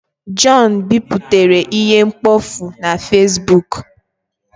John biputere ihe mkpofu na Fesbuk